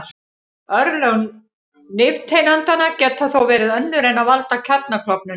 Örlög nifteindanna geta þó verið önnur en að valda kjarnaklofnun.